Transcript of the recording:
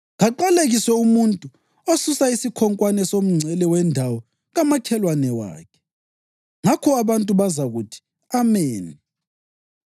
‘Kaqalekiswe umuntu osusa isikhonkwane somngcele wendawo kamakhelwane wakhe.’ Ngakho abantu bonke bazakuthi, ‘Ameni!’